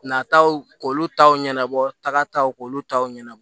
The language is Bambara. Nataw k'olu taw ɲɛnabɔ tagaw k'olu taw ɲɛnabɔ